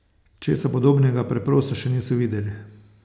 Česa podobnega preprosto še niso videli.